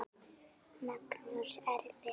Magnús: Erfitt?